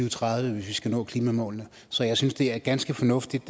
og tredive hvis vi skal nå klimamålene så jeg synes at det er ganske fornuftigt